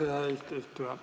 Aitäh, hea eesistuja!